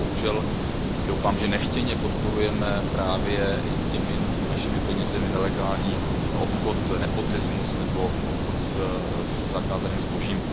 Nebo bohužel doufám, že nechtěně podporujeme našimi penězi nelegální obchod, nepotismus nebo obchod se zakázaným zbožím.